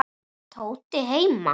Er Tóti heima?